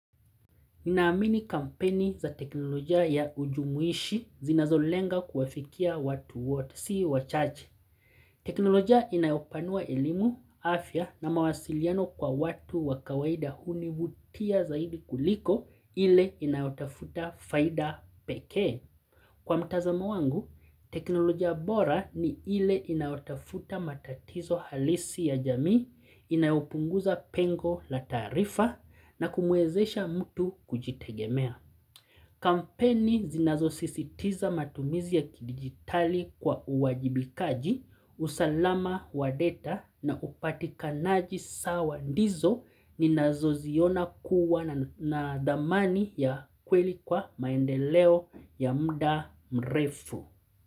Ninaamini kampeni za teknoloja ya ujumuishi zinazolenga kuwafikia watu wote sii wachache. Teknoloja inayopanua elimu, afya na mawasiliano kwa watu wakawaida hunivutia zaidi kuliko ile inayotafuta faida pekee. Kwa mtazamo wangu, teknoloja bora ni ile inayotafuta matatizo halisi ya jamii, inayopunguza pengo la taarifa na kumwezesha mtu kujitegemea. Kampeni zinazo sisitiza matumizi ya kidigitali kwa uwajibikaji, usalama wadata na upatikanaji sawa ndizo ni nazo ziona kuwa na dhamani ya kweli kwa maendeleo ya mda mrefu.